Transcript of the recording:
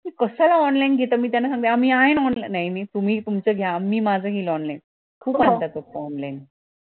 कशाला online घेता त्यांना सांगते आम्ही आहे ना online नाही तुम्ही तुमचं घ्या मी माझं घेईल online खूप असतात आता online